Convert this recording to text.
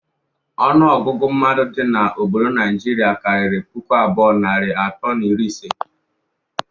Ọnụ ọgụgụ mmadụ dị n'obodo Najiri kariri puku abụọ, narị atọ na iri ise.